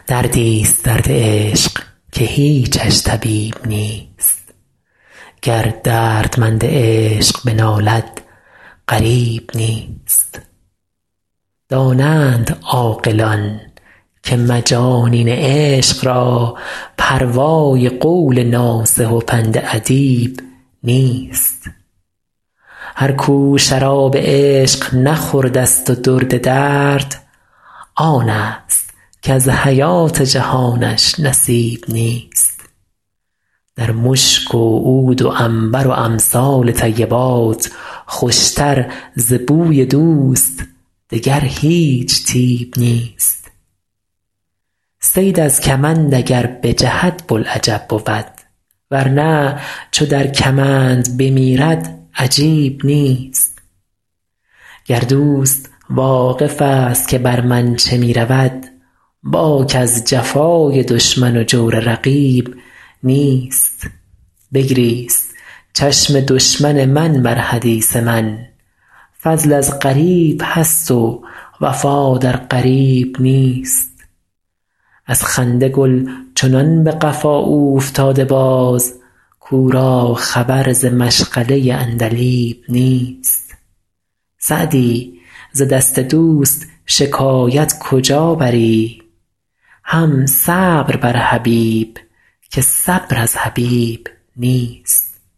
دردی ست درد عشق که هیچش طبیب نیست گر دردمند عشق بنالد غریب نیست دانند عاقلان که مجانین عشق را پروای قول ناصح و پند ادیب نیست هر کو شراب عشق نخورده ست و درد درد آن ست کز حیات جهانش نصیب نیست در مشک و عود و عنبر و امثال طیبات خوش تر ز بوی دوست دگر هیچ طیب نیست صید از کمند اگر بجهد بوالعجب بود ور نه چو در کمند بمیرد عجیب نیست گر دوست واقف ست که بر من چه می رود باک از جفای دشمن و جور رقیب نیست بگریست چشم دشمن من بر حدیث من فضل از غریب هست و وفا در قریب نیست از خنده گل چنان به قفا اوفتاده باز کو را خبر ز مشغله عندلیب نیست سعدی ز دست دوست شکایت کجا بری هم صبر بر حبیب که صبر از حبیب نیست